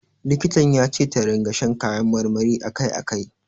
Likitan ya ce ta ringa shan kayan marmari a kai a kai.